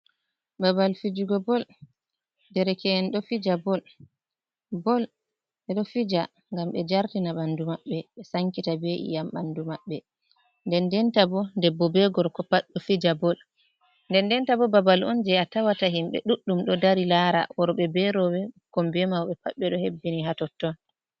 Babal fijugo bol, dereke’en ɗo fija ngam ɓe jartina ɓanɗu maɓɓe ɓe sankita be’iyam ɓandu maɓɓe, den den ta bo gorko be debbo pat ɗo fija bol, den denta bo babal on je a tawata himbei ɗuɗɗum ɗo dari lara worɓɓe be roɓɓe ɓukkon, be mauɓe, pat ɓe ɗo hebbini ha totton.